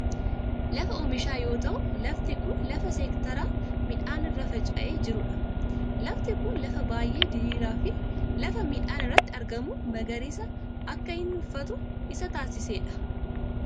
Lafa oomishaa yoo ta'u lafti kun lafa seektaraan midhaan irra faca'ee jiru dha. Lafti kun lafa baayyee diriiraa fi lafa midhaan irratti argamu magariisa akka inni uffatu isa taasise dha.